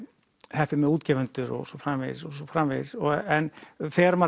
heppinn með útgefendur og svo framvegis og svo framvegis en þegar maður